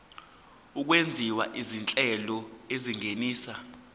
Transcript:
okwenziwa izinhlelo ezingenisa